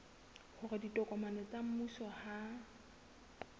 hore ditokomane tsa mmuso ha